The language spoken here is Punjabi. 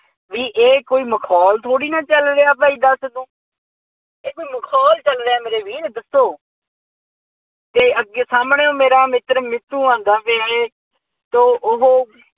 ਬਈ ਇਹ ਕੋਈ ਮਖੌਲ ਥੋੜ੍ਹੀ ਹੈ ਚੱਲ ਰਿਹਾ ਭਾਈ ਦੱਸ ਤੂੰ ਇਹ ਕੋਈ ਮਖੌਲ ਚੱਲ ਰਿਹਾ ਮੇਰੇ ਵੀਰ ਦੱਸੋ ਅਤੇ ਅੱਗੇ ਸਾਹਮਣਿਉਂ ਮੇਰਾ ਮਿੱਤਰ ਮਿੱਠੂ ਆਉਂਦਾ ਪਿਆ ਹੈ। ਤੋਂ ਉਹ